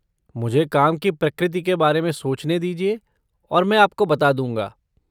मुझे काम की प्रकृति के बारे में सोचने दीजिए और मैं आपको बता दूँगा।